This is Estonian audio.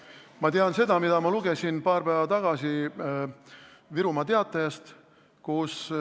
Ma tean seda, mida ma lugesin paar päeva tagasi Virumaa Teatajast.